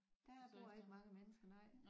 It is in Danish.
Der bor ikke mange mennesker nej